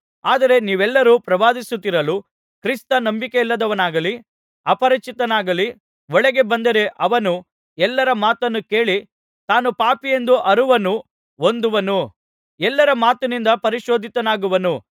ಆದರೆ ನೀವೆಲ್ಲರು ಪ್ರವಾದಿಸುತ್ತಿರಲು ಕ್ರಿಸ್ತ ನಂಬಿಕೆಯಿಲ್ಲದವನಾಗಲಿ ಅಪರಿಚಿತನಾಗಲಿ ಒಳಗೆ ಬಂದರೆ ಅವನು ಎಲ್ಲರ ಮಾತನ್ನು ಕೇಳಿ ತಾನು ಪಾಪಿಯೆಂಬ ಅರುಹನ್ನು ಹೊಂದುವನು ಎಲ್ಲರ ಮಾತಿನಿಂದ ಪರಿಶೋಧಿತನಾಗುವನು